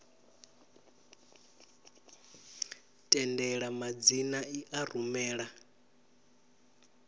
tendela madzina i a rumela